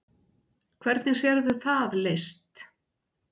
Hvernig sérðu það leyst?